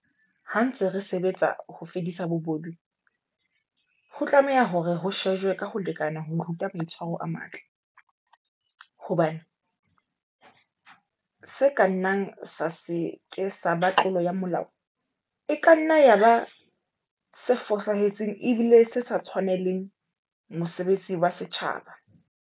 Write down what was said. Ha re ntse re sebetsa ho fedisa bobodu, ho tlameha hore ho shejwe ka ho lekana ho ruta maitshwaro a matle, hobane se ka nnang sa se ke sa ba tlolo ya molao e kanna ya ba se fosahetseng ebile se sa tshwanele mosebetsi wa setjhaba.